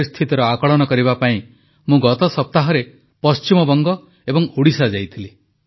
ପରିସ୍ଥିତିର ଆକଳନ କରିବା ପାଇଁ ମୁଁ ଗତ ସପ୍ତାହରେ ପଶ୍ଚିମବଙ୍ଗ ଏବଂ ଓଡ଼ିଶା ଯାଇଥିଲି